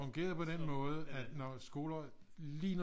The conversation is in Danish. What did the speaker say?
Det fungerede på den måde at når skoleåret lige når